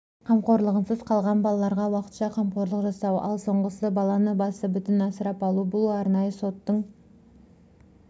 қамқорлығынсыз қалған балаларға уақытша қамқорлық жасау ал соңғысы баланы басы бүтінасырап алу бұл арнайы соттың